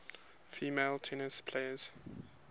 female tennis players